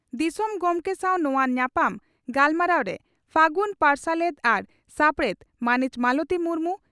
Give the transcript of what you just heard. ᱫᱤᱥᱚᱢ ᱜᱚᱢᱠᱮ ᱥᱟᱶ ᱱᱚᱣᱟ ᱧᱟᱯᱟᱢ ᱜᱟᱞᱢᱟᱨᱟᱣᱨᱮ ᱯᱷᱟᱹᱜᱩᱱ ᱯᱟᱨᱥᱟᱞᱮᱛ ᱟᱨ ᱥᱟᱯᱲᱮᱛ ᱢᱟᱹᱱᱤᱡ ᱢᱟᱞᱚᱛᱤ ᱢᱩᱨᱢᱩ